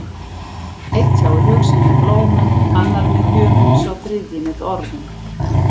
Einn tjáir hug sinn með blómum, annar með gjöfum, sá þriðji með orðum.